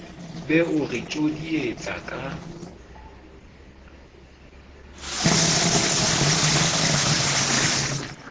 be o re tjodietsa ka